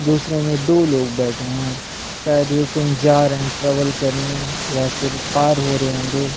दूसरे में दो लोग बैठे है शायद ये कहीं जा रहे है ट्रैवल करने या फिर पार हो रहे होंगे --